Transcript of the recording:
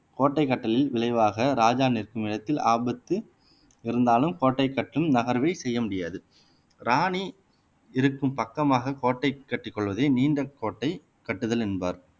கோட்டை கட்டிலில் விளைவாக ராஜா நிற்கும் இடத்தில் ஆபத்து இருந்தாலும் கோட்டை கட்டும் நகர்வை செய்ய முடியாது ராணி இருக்கும் பக்கமாக கோட்டை கட்டிக் கொள்வதை நீண்ட கோட்டை கட்டுதல் என்பார்